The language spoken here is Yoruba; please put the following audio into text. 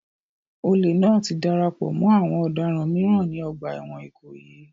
Olè náà ti darapọ̀ mọ́ àwọn ọ̀daràn mìíràn ní ọgbà ẹ̀wọ̀n Ikoyi